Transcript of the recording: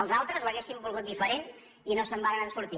els altres l’haurien volgut diferent i no se’n varen sortir